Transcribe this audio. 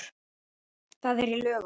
Það er í lögum.